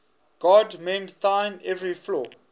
god mend thine every flaw